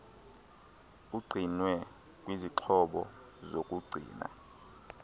ugcinwe kwizixhobo zokugcina